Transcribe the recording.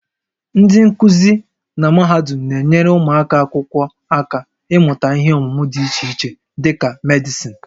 Ndị nkuzi na mahadum na-enyere ụmụ akwụkwọ aka ịmụta ihe ọmụmụ dị iche iche dị ka Medịsịn